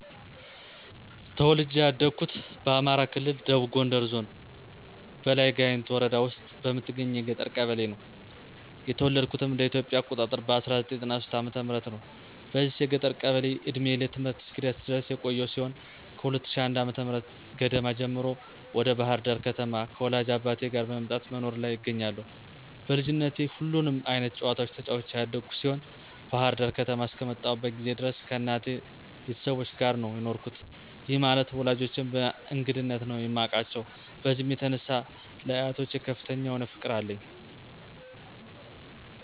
ተወልጄ ያደኩት በአማራ ክልል ደቡብ ጎንደር ዞን በላይ ጋይንት ወረዳ ውስጥ በምትገኝ የገጠር ቀበሌ ነው። የተወለድኩትም እንደ ኢትዮጵያ አቆጣጠር በ1993 ዓ/ም ነው። በዚች የገጠር ቀበሌ እድሜዬ ለትምህርት እስኪደርስ ድረስ የቆየው ሲሆን ከ2001 ዓ/ም ገደማ ጀምሮ ወደ ባህር ዳር ከተማ ከወላጅ አባቴ ጋር መምጣት በመኖር ላይ እገኛለሁ። በልጅነቴ ሁሉንም አይነት ጨዋታዎች ተጫዉቼ ያደኩ ሲሆን ባህር ዳር ከተማ አስከመጣሁበት ጊዜ ድረስ ከእናቴ ቤተሰቦች ጋር ነው የኖርኩት፤ ይህ ማለት ወላጆቼን በእንግድነት ነበር የማቃቸው። በዚህም የተነሳ ለአያቶች ከፍተኛ የሆነ ፍቅር አለኝ።